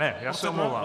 Ne, já se omlouvám.